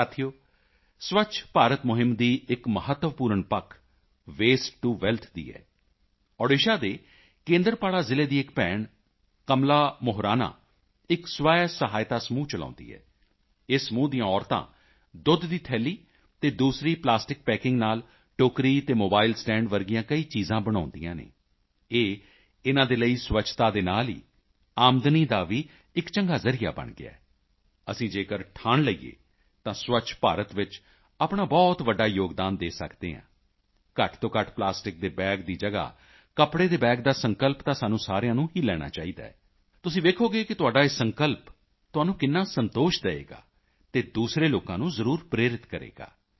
ਸਾਥੀਓ ਸਵੱਛ ਭਾਰਤ ਮੁਹਿੰਮ ਦੀ ਇੱਕ ਮਹੱਤਵਪੂਰਨ ਪੱਖ ਵੇਸਟਟੂਵੈਲਥ ਦੀ ਹੈ ਓਡੀਸ਼ਾ ਦੇ ਕੇਂਦਰਪਾੜਾ ਜ਼ਿਲ੍ਹੇ ਦੀ ਇੱਕ ਭੈਣ ਕਮਲਾ ਮੁਹਰਾਨਾ ਇੱਕ ਸਵੈਸਹਾਇਤਾ ਸਮੂਹ ਚਲਾਉਂਦੀ ਹੈ ਇਸ ਸਮੂਹ ਦੀਆਂ ਔਰਤਾਂ ਦੁੱਧ ਦੀ ਥੈਲੀ ਅਤੇ ਦੂਸਰੀ ਪਲਾਸਟਿਕ ਪੈਕਿੰਗ ਨਾਲ ਟੋਕਰੀ ਅਤੇ ਮੋਬਾਈਲ ਸਟੈਂਡ ਜਿਹੀਆਂ ਕਈ ਚੀਜ਼ਾਂ ਬਣਾਉਂਦੀਆਂ ਹਨ ਇਹ ਇਨ੍ਹਾਂ ਦੇ ਲਈ ਸਵੱਛਤਾ ਦੇ ਨਾਲ ਹੀ ਆਮਦਨੀ ਦਾ ਵੀ ਇੱਕ ਚੰਗਾ ਜ਼ਰੀਆ ਬਣ ਗਿਆ ਹੈ ਅਸੀਂ ਜੇਕਰ ਠਾਣ ਲਈਏ ਤਾਂ ਸਵੱਛ ਭਾਰਤ ਵਿੱਚ ਆਪਣਾ ਬਹੁਤ ਵੱਡਾ ਯੋਗਦਾਨ ਦੇ ਸਕਦੇ ਹਾਂ ਘੱਟ ਤੋਂ ਘੱਟ ਪਲਾਸਟਿਕ ਦੇ ਬੈਗ ਦੀ ਜਗ੍ਹਾ ਕੱਪੜੇ ਦੇ ਬੈਗ ਦਾ ਸੰਕਲਪ ਤਾਂ ਸਾਨੂੰ ਸਾਰਿਆਂ ਨੂੰ ਹੀ ਲੈਣਾ ਚਾਹੀਦਾ ਹੈ ਤੁਸੀਂ ਵੇਖੋਗੇ ਕਿ ਤੁਹਾਡਾ ਇਹ ਸੰਕਲਪ ਤੁਹਾਨੂੰ ਕਿੰਨਾ ਸੰਤੋਸ਼ ਦੇਵੇਗਾ ਅਤੇ ਦੂਸਰੇ ਲੋਕਾਂ ਨੂੰ ਜ਼ਰੂਰ ਪ੍ਰੇਰਿਤ ਕਰੇਗਾ